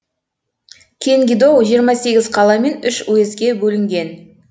кенгидо жиырма сегіз қала мен үш уездке бөлінген